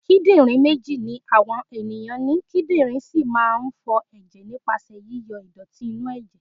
Kídírìn méjì ni àwa ẹ̀yàn ni, kídírìn sì máa ń fọ ẹ̀jẹ̀ nípasẹ̀ yí yọ ìdọ̀tí inú ẹ̀jẹ̀.